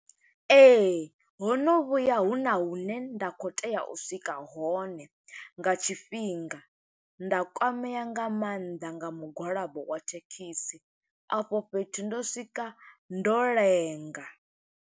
Ee, ho no vhuya huna hune nda khou tea u swika hone nga tshifhinga, nda kwamea nga maanḓa nga mugwalabo wa thekhisi. A fho fhethu ndo swika, ndo lenga.